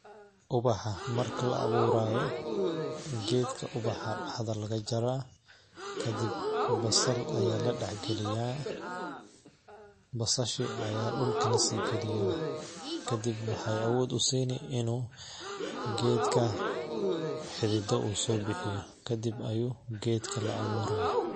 Ubaxa marka la awurayo gedka ubaxa dax da laga jarah, kadib basal aya la dax galiyaah, basasha ayaa dulka la si galiyaah , kadib waxay awod u sini in u gedka xidida u so bixiyo, kadib ayuu gedka la awurayaa.